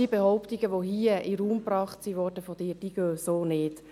Die Behauptungen, die von Ihnen hier in den Raum gebracht wurden, gehen so nicht.